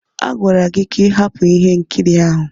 Agwara gị ka ị hapụ ihe nkiri ahụ.